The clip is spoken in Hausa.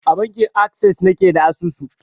A bankin akses na ke da asusu.